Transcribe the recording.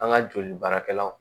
An ka joli baarakɛlaw